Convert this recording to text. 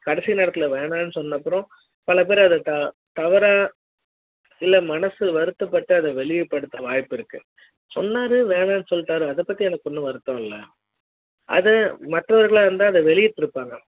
கடைசி நேரத்துல வேணான்னு சொன்னப்புறம் பலபேரு அத தவறா இல்ல மனசு வருத்தப்படு அத வெளிப்படுத்த வாய்ப்பு இருக்கு சொன்னாரு வேணான்னு சொல்லிட்டாரு அத பத்தி எனக்கு வருத்தம் இல்ல அது மற்றவர்களா இருந்தா வெளிற்றுப்பாரு